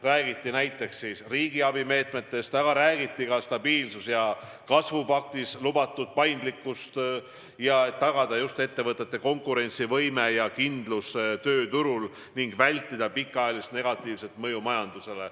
Räägiti näiteks riigiabi meetmetest, aga räägiti ka stabiilsuse ja kasvu paktis lubatud paindlikkusest, et tagada ettevõtete konkurentsivõime ja kindlus tööturul ning vältida pikaajalist negatiivset mõju majandusele.